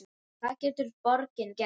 Hvað getur borgin gert?